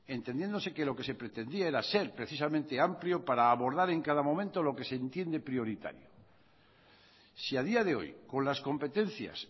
entendiéndose que lo que se pretendía era ser precisamente amplio para abordar en cada momento lo que se entiende prioritario si a día de hoy con las competencias